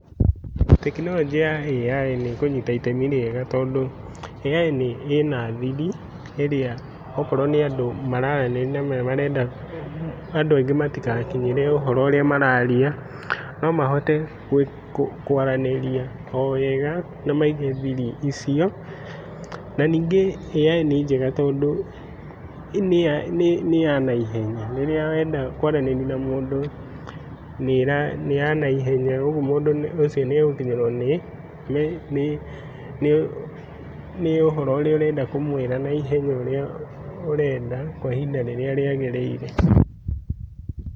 Tekinoronjĩ ya AI nĩkũnyita itemi rĩega, tondũ AI ĩna thiri okorwo nĩ andũ mararanĩria na nĩmarenda andũ aingĩ matigakinyĩre ũhoro ũrĩa mararia nomahote kũ kwaranĩria o wega na maige thiri icio. Na ningĩ AI nĩ njega, tondũ tondũ nĩ ya naihenya. Rĩrĩa wenda kwaranĩria na mũndũ, nĩ ya naihenya, ũguo mũndũ ũcio nĩagũkinyĩrwo nĩ nĩ nĩ ũhoro ũrĩa ũrenda kũmwĩra na ihenya, norĩa ũrenda kwa ihinda rĩrĩa rĩagĩrĩire.